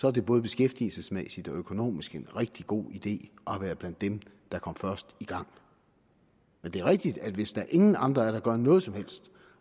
er det både beskæftigelsesmæssigt og økonomisk en rigtig god idé at have været blandt dem der kom først i gang men det er rigtigt at hvis der ingen andre er der gør noget som helst